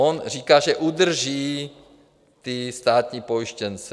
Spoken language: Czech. On říká, že udrží ty státní pojištěnce.